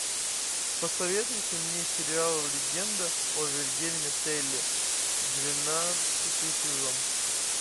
посоветуйте мне сериал легенда о вильгельме телле двенадцатый сезон